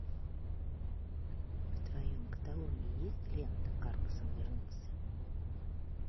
в твоем каталоге есть лента карлсон вернулся